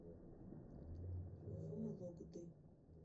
вологды